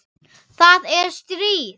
Það er stríð!